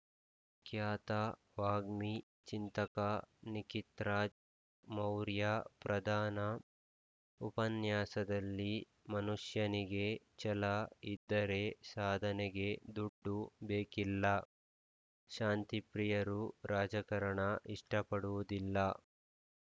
ಖ್ಯಾತ ವಾಗ್ಮಿ ಚಿಂತಕ ನಿಖಿತ್‌ರಾಜ್‌ ಮೌರ್ಯ ಪ್ರಧಾನ ಉಪನ್ಯಾಸದಲ್ಲಿ ಮನುಷ್ಯನಿಗೆ ಛಲ ಇದ್ದರೆ ಸಾಧನೆಗೆ ದುಡ್ಡು ಬೇಕಿಲ್ಲ ಶಾಂತಿಪ್ರಿಯರು ರಾಜಕಾರಣ ಇಷ್ಟಪಡುವುದಿಲ್ಲ